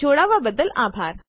જોડાવા બદ્દલ આભાર